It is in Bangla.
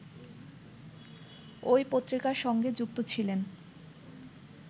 ঐ পত্রিকার সঙ্গে যুক্ত ছিলেন